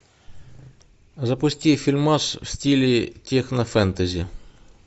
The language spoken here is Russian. запусти фильмас в стиле технофэнтези